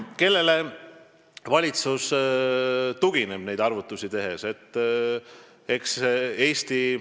Kelle analüüsile valitsus neid arvutusi tehes tugineb?